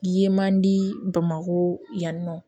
Ye man di bamako yan nɔ